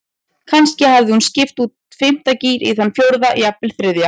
Kannski hafði hún skipt úr fimmta gír í þann fjórða, jafnvel þriðja.